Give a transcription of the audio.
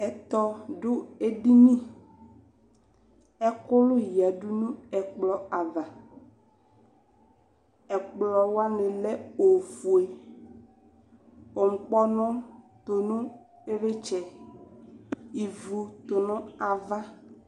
Ɛtɔ ʋʋ edini, ɛkʋlʋ yǝdʋ nʋ ɛkplɔ ava, ɛkplɔ wani lɛ ofue, nkpɔʋʋ tʋnʋ iɣlitsɛ, ivu tʋnu ava